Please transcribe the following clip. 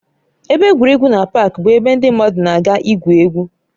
Ebe egwuregwu na páaki bụ ebe ndị mmadụ na-aga igwu egwu